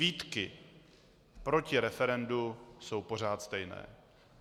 Výtky proti referendu jsou pořád stejné.